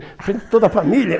Na frente de toda a família.